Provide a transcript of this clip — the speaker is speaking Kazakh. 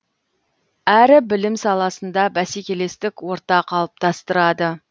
әрі білім саласында бәсекелестік орта қалыптастырады